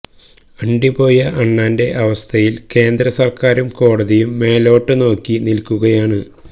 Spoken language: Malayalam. അണ്ടി പോയ അണ്ണാന്റെ അവസ്ഥയില് കേന്ദ്ര സര്ക്കാരും കോടതിയും മേലോട്ട് നോക്കി നില്ക്കുകയാണ്